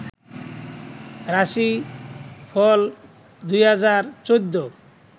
রাশি ফল ২০১৪